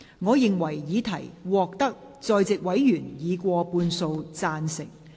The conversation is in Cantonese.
我認為議題獲得在席委員以過半數贊成。